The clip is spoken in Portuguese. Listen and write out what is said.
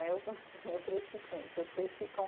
Né, eu cresci com isso, eu cresci com